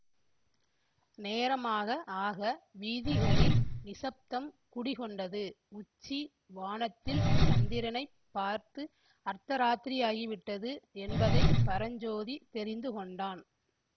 நேரமாக ஆக வீதிகளில் நிசப்தம் குடிகொண்டது உச்சி வானத்தில் சந்திரனை பார்த்து அர்த்தராத்திரியாகிவிட்டது என்பதை பரஞ்சோதி தெரிந்துகொண்டான்